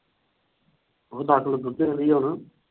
ਉਹ ਦੱਸ ਕਿੱਲੋ ਦੁੱਧ ਦੇਂਦੀ ਆ ਹੁਣ।